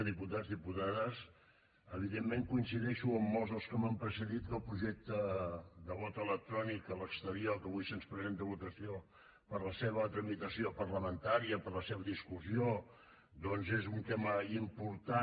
diputats diputades evidentment coincideixo amb molts dels que m’han precedit que el projecte de vot electrònic a l’exterior que avui se’ns presenta a votació per a la seva tramitació parlamentària per a la seva discussió doncs és un tema important